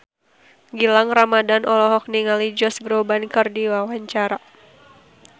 Gilang Ramadan olohok ningali Josh Groban keur diwawancara